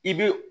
I bɛ